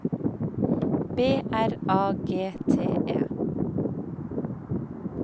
B R A G T E